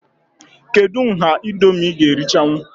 Kedụ nha Indomie ị ga erichanwu?